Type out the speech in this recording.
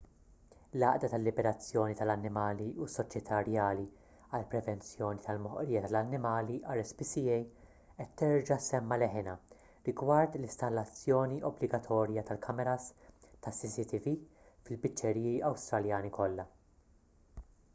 l-għaqda tal-liberazzjoni tal-annimali u s-soċjetà rjali għall-prevenzjoni tal-moħqrija tal-annimali rspca qed terġa' ssemma' leħinha rigward l-installazzjoni obbligatorja tal-kameras tas-cctv fil-biċċeriji awstraljani kollha